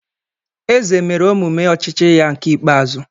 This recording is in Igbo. Eze mere omume ochichi ya nke ikpeazu.